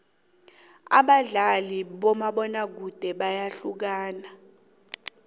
abadlali bakamabona kude bayahlukana